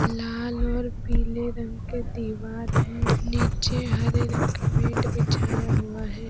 लाल और पीले रंग के दीवार है नीचे हरे रंग का मैट बिछाया हुआ है।